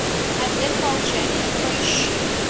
обет молчания поищи